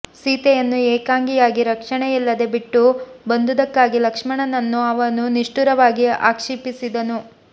ಸೀತೆಯನ್ನು ಏಕಾಂಗಿಯಾಗಿ ರಕ್ಷಣೆಯಿಲ್ಲದೆ ಬಿಟ್ಟು ಬಂದುದಕ್ಕಾಗಿ ಲಕ್ಷ್ಮಣನನ್ನು ಅವನು ನಿಷ್ಠುರವಾಗಿ ಆಕ್ಷೀಪಿಸಿದನು